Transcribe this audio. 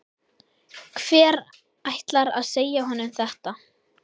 Hver ætlar að segja honum þetta?